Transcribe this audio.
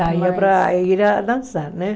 Saía para ir dançar, né?